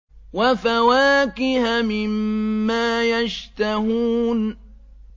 وَفَوَاكِهَ مِمَّا يَشْتَهُونَ